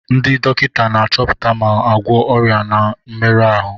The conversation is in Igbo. Ndị dọkịta na-achọpụta ma na-agwọ ọrịa na mmerụ ahụ.